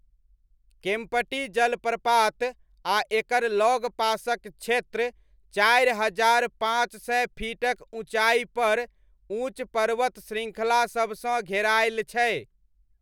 केम्प्टी जलप्रपात आ एकर लगपासक क्षेत्र चारि हजार पाँच सय फीटक ऊँचाईपर ऊँच पर्वत श्रृङ्खलासबसँ घेरायल छै।